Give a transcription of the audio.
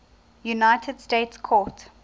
united states court